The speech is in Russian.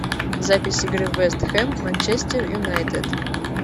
запись игры вест хэм манчестер юнайтед